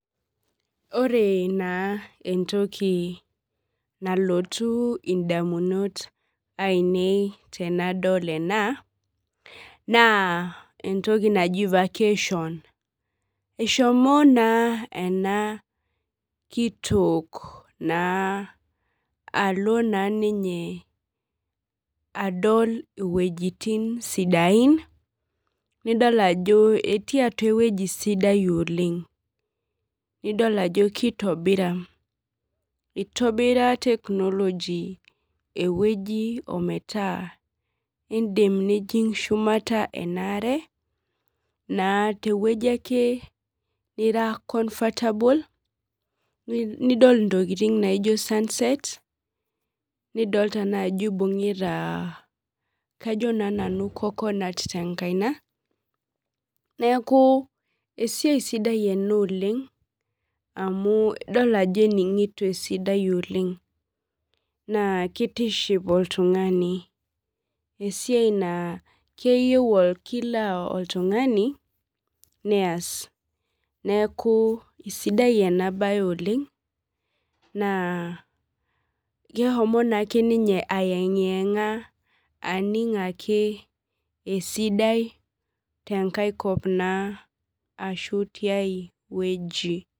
Ore na entoki nalotu ondamunot ainei tanadol ena na entoki naji vacation eshomo na ena kitok na alo na. Ninye adol iwuejitin sidain nidol ajo eti atua ewueji sidai oleng idol ajo kitobira itobira technology ewuei ometaa indimbnijing shumata ake tewueji nira comfortable nidol ntokitin nijo sunsets nidolita na ajo ibungita coconut telukunya neaku esiai sidai oleng amu idolta ajo eningoto esidai oleng na kitiship oltungani esiai na keyieu kila oltungani neas neaku kesidai enabae oleng na keshomo ake ninye aengianga aning esidai tenkaikop ashu tiai wueji.